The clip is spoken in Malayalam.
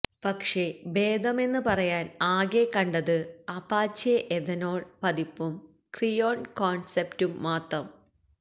പക്ഷെ ഭേദമെന്ന് പറയാന് ആകെ കണ്ടത് അപാച്ചെ എഥനോള് പതിപ്പും ക്രിയോണ് കോണ്സെപ്റ്റും മാത്രം